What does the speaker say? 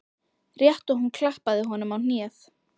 Rétt og hún klappaði honum á hnéð.